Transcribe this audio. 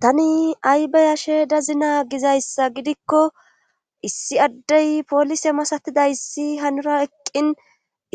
tani aybayashe dazina gizayssa gidikko issi addey poolise masatiday issi hanura eqqin